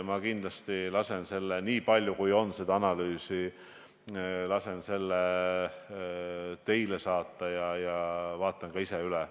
Ma kindlasti lasen selle analüüsi, niipalju kui seda on, teile saata ja vaatan selle ka ise üle.